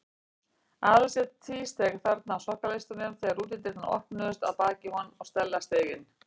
Aðalsteinn tvísteig þarna á sokkaleistunum þegar útidyrnar opnuðust að baki honum og Stella steig inn.